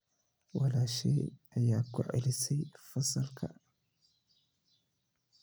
Walaashay ayaa ku celisay fasalka